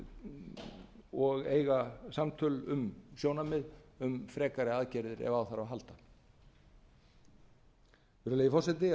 mála og eiga samtöl um sjónarmið um frekari aðgerðir ef á þarf að halda virðulegi forseti að